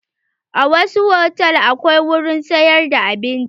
A wasu hotal akwai wurin sayar da abinci.